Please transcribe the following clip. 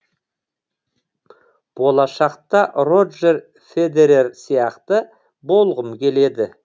болашақта роджер федерер сияқты болғым келеді